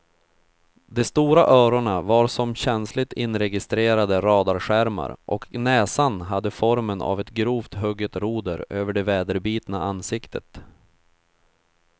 De stora öronen var som känsligt inregistrerande radarskärmar och näsan hade formen av ett grovt hugget roder över det väderbitna ansiktet.